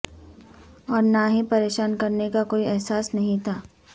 اور نہ ہی پریشان کرنے کا کوئی احساس نہیں تھا